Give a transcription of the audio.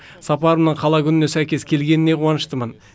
сапарымның қала күніне сәйкес келгеніне қуаныштымын